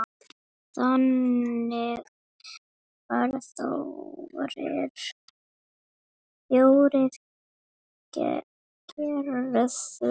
Þannig var Þórir gerður.